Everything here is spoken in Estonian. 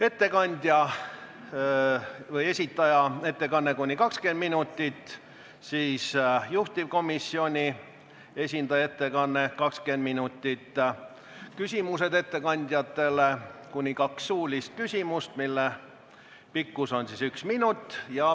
Ettekandja või esitaja ettekanne on kuni 20 minutit; sellele järgneb juhtivkomisjoni esindaja ettekanne, 20 minutit; siis tulevad küsimused ettekandjatele – kuni kaks suulist küsimust, mille pikkus on üks minut.